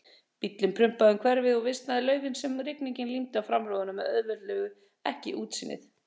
Bíllinn prumpaði um hverfið- og visnuð laufin sem rigningin límdi á framrúðuna auðvelduðu ekki útsýnið.